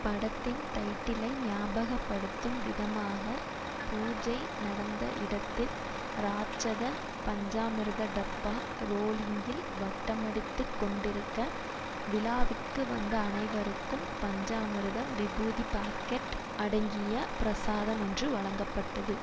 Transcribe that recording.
படத்தின் டைட்டிலை ஞாபகபடுத்தும் விதமாக பூஜை நடந்த இடத்தில் ராட்சத பஞ்சாமிர்தா டப்பா ரோலிங்கில் வட்டமடித்து கொண்டிருக்க விழாவிற்கு வந்த அனைவருக்கும் பஞ்சாமிர்தம் விபூதி பாக்கெட் அடங்கிய பிரசாதம் ஒன்று வழங்கப்பட்டது